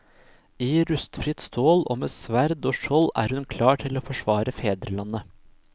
I rustfritt stål og med sverd og skjold er hun klar til å forsvare fedrelandet.